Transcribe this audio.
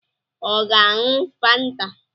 Ọ ga-aṅụ Fanta?